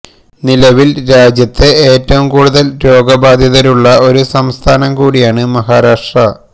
നിലവില് രാജ്യത്തെ ഏറ്റവും കൂടുതല് രോഗബാധിതരുള്ള ഒരു സംസ്ഥാനം കൂടിയാണ് മഹാരാഷ്ട്ര